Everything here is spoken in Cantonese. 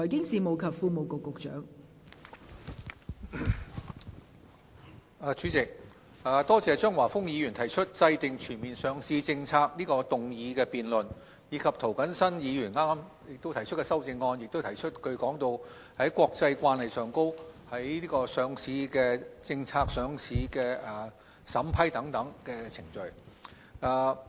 代理主席，多謝張華峰議員提出"制訂全面上市政策"這項議案，以及涂謹申議員剛才提出的修正案，並提到在國際慣例上，上市政策和上市審批等程序。